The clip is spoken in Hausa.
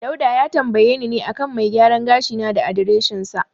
Dauda ya tambayi ne a kan mai gyaran gashi na da adireshinsa.